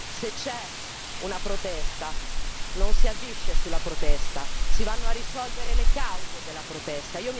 Se c'è una protesta non si agisce sulla protesta, si vanno a risolvere le cause della protesta.